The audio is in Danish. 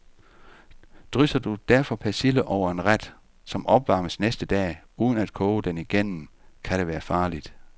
Drysser du derfor persille over en ret, som opvarmes næste dag, uden at koge den igennem, kan det være farligt.